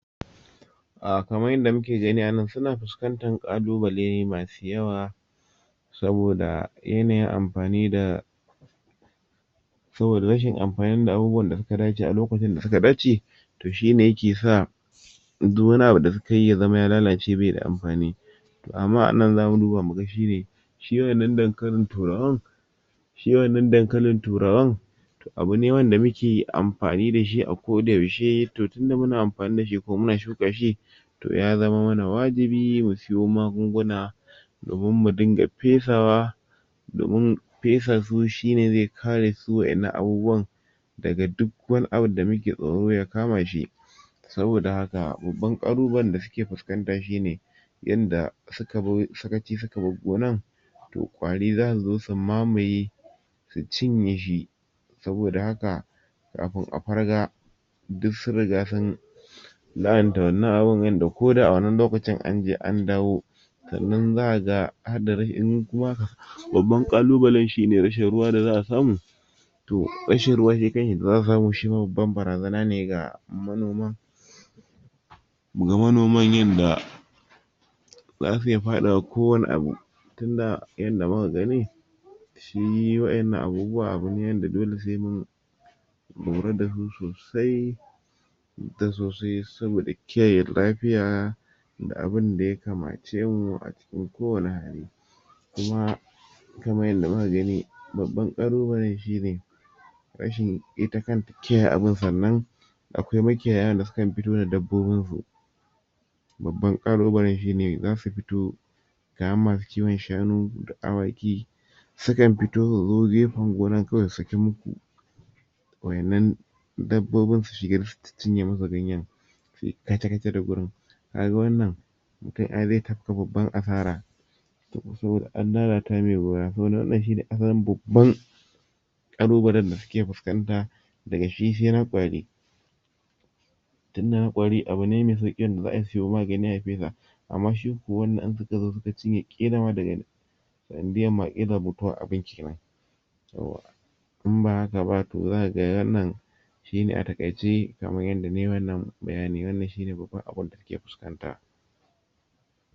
kamar yadda muke gani a nan suna fiskantar kalubale masu yawa saboda yanayin amfani da saboda rashin amfani da abun da su dace a lokacin da suka dace to shi ne yake sa duk wani abu da suka yi ya zama ya lalace bai da amfani to amma anan za mu duba muga shi ne shi wannan dankalin turawan shi wannan dankalin turawan abu ne wanda muke amfani da shi a koda yaushe ko da yaushe tun da muna amfani da shi ko da yaushe kuma muna shuka shi to ya zama wajibi mu sayo magunguna domin mu dinga fesawa domin faisa su shi ne zai kare su daga wannan abubuwa daga duk wani abu da muke tsoro ya kama shi saboda haka bubban kalu balen da suke fuskanta shi ne yadda suka yi sakaci suka bar gonan to kwari za su zo su mamaye su cinye shi saboda haka kafin a farga duk sun rigansun la'anta wannan abun wanda ko da a wannan lokacin an je an dawo sannan za aga har da rashin babban kalubalen shi ne rashin ruwa da za a samu to rashin ruwa da za a samu shima babban barazana ne ga manoma muga noman yadda za su iya fadawa kowani abu, tun da yanayin da muka gani shi wa'yannan abubuwa abu ne da dole sai mun mu lura da su sosai da sosai sabida kiyaye lafiya abin da ya kamace mu a cikin ko wani hali kuma kamar yadda muka gani babban kalu balen shi ne rashin ita kanta kiyaye abun sannan i akwai makiyayan da su ke futowa da dabbobin su babban kalubalan shi ne za su fito kamar masu kiwan shanu da awaki sukan fito su zo gefan gonan kawai su sakin maku wa 'yannan dabbobin su cinye muku ganyan suyi kaca-kaca da wurin kaga wannan ana tafka babban asara an lalata mai gona saboda haka wannan shi ne asalin babban kalubalen da suke fiskanta daga shi sai na kwari na kwari abu ne mai sauki za a saya magani a fesa amma ko shi wannan in suka zo suka cinye kila ma sana diyan mutuwan abun kenan yauwa in ba hakaba to zakaga wannan shi ne a takaice kamar yadda na yi wannan bayani wannan shi ne babban abun da suke fiskanta.